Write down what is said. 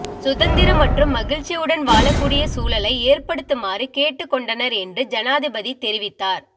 சுதந்திர மற்றம் மகிழ்ச்சியுடன் வாழக்கூடிய சூழலை ஏற்படுத்துமாறு கேட்டுக் கொண்டனர் என்றும் ஜனாதிபதி தெரிவித்தார்